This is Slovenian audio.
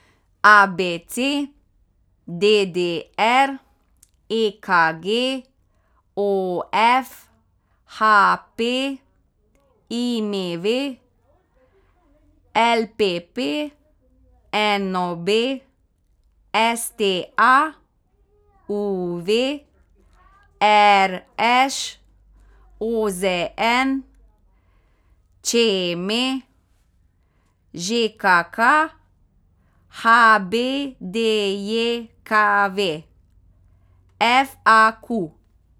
A B C; D D R; E K G; O F; H P; I M V; L P P; N O B; S T A; U V; R Š; O Z N; Č M; Ž K K; H B D J K V; F A Q.